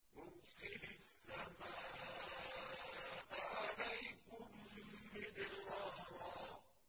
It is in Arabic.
يُرْسِلِ السَّمَاءَ عَلَيْكُم مِّدْرَارًا